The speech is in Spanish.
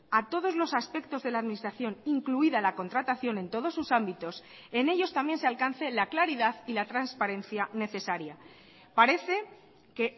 a todos los aspectos de la administración incluida la contratación en todos sus ámbitos en ellos también se alcance la claridad y la transparencia necesaria parece que